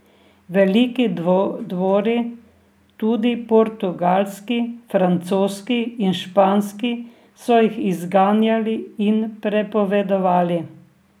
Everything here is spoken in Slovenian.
Veliki dvori, tudi portugalski, francoski in španski, so jih izganjali in prepovedovali.